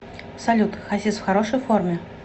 салют хасис в хорошей форме